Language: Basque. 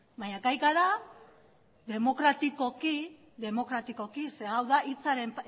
baina gai gara demokratikoki demokratikoki ze hau da hitzaren